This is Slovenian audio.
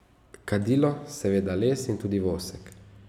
Kadilo, seveda, les, in tudi vosek.